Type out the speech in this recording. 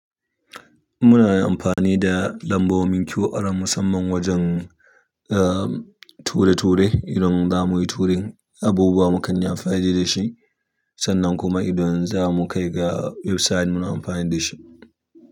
Muna amfani da lambobin QR musamman wajen, ah, ture-ture idan za muyi turin abubuwa mu kanyi amfani dashi. Sannan kuma idan zamu kaiga website muna amfani dashi.